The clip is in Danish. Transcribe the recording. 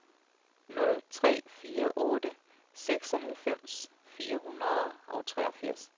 nul tre fire otte seksoghalvfems fire hundrede og treogfirs